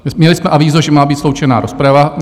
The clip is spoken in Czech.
Měli jsme avízo, že má být sloučena rozprava.